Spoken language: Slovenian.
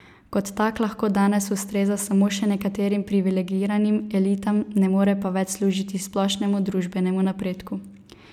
Kot tak lahko danes ustreza samo še nekaterim privilegiranim elitam, ne more pa več služiti splošnemu družbenemu napredku.